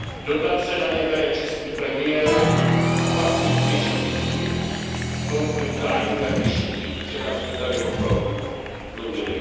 Dotace na ně bere český premiér a pak z nich těží zisky, konflikt zájmů jak vyšitý, včera jsme tady o tom mluvili.